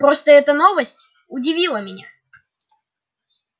просто эта новость удивила меня